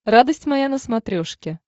радость моя на смотрешке